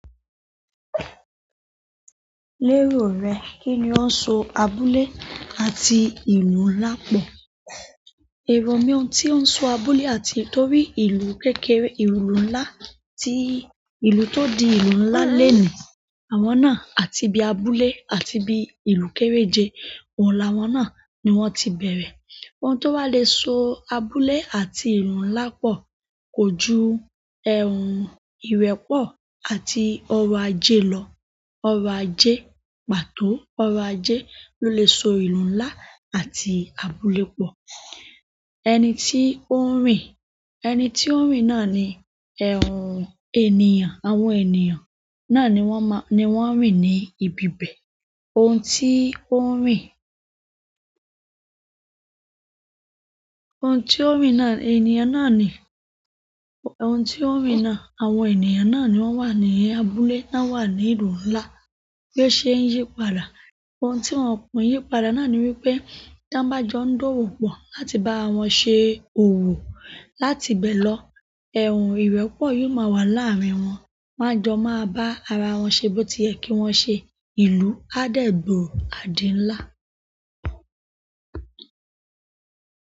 Lérò rẹ, kí ni ó ń so abúlé àti ìlú ńlá pọ̀? Ohun tí ó ń so abúlé àti torí ìlú kékeré, ìlú ńlá tí ìlú tó di ìlú ńlá leni, àwọn náà àti bí abúlé àti bí ìlú kéré je oun láwọn náà ni wọ́n ti bẹ̀rẹ̀. Ohun tó wà le so abúlé àti ìlú ńlá pọ̀ kò ju, ìrẹ́pọ̀ àti ọrọ̀ ajé lọ. Ọrọ̀ ajé, pàtó ọrọ̀ ajé ló lè so ìlú ńlá àti abúlé pọ̀. Ẹni tí ó ń rìn, ẹni tí ó ń rìn náà ni ènìyàn, àwọn ènìyàn náà ni wọ́n máa, ni wọ́n ń rìn ní ibi bẹ̀. Ohun tí ó ń rìn, ohun tí ó ń rìn náà ènìyàn náà ni, ohun tí ó ń rìn náà àwọn ènìyàn náà ni wọ́n wà ní abúlé, wọ́n wà ní ìlú ńlá. Bí o ṣe ń yí padà. Ohun tí wọn kò ń yípadà náà ni wípé, dáńbájọ́ ń dọ̀wó pọ̀ láti bá wọn ṣe òwò. Láti bẹ́ẹ̀ lọ, ìrẹ́pọ̀ yóò máa wà láàárín wọn. Won a jọ máa bá ara wọn ṣe bó ti yẹ kí wọ́n ṣe. Ìlú á dẹ̀ gbooro àdí ńlá.